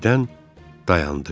Birdən dayandı.